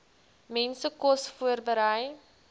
mense kos voorberei